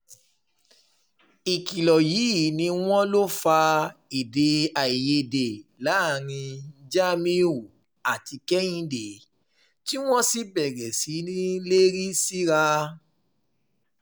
ìkìlọ̀ yìí ni wọ́n lọ fa èdè-àìyedè láàrin jamiu àti kehinde tí wọ́n sì bẹ̀rẹ̀ sí í lérí síra